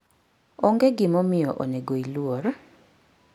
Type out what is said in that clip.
Onge gimomiyo onego iluor.